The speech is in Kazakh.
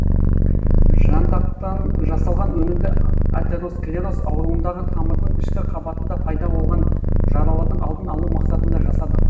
жантақтан жасалған өнімді атеросклероз ауруындағы тамырдың ішкі қабатында пайда болған жаралардың алдын алу мақсатында жасадық